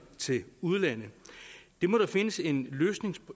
til udlandet det må der findes en